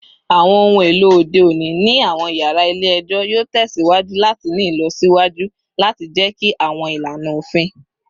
Awọn ohun elo ode oni ni awọn yara ile-ẹjọ yoo tẹsiwaju lati ni ilọsiwaju lati jẹki awọn ilana ofin